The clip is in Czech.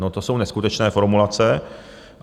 No, to jsou neskutečné formulace.